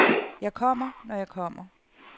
Jeg kommer, når jeg kommer.